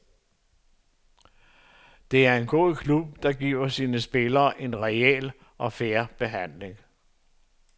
Det er en god klub, der giver sine spillere en reel og fair behandling.